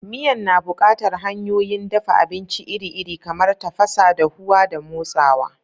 Miyan na buƙatar hanyoyin dafa abinci iri-iri, kamar tafasa, dahuwa, da motsawa.